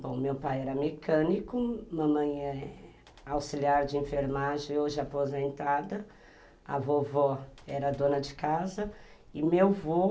Bom, meu pai era mecânico, mamãe é auxiliar de enfermagem, hoje aposentada, a vovó era dona de casa e meu avô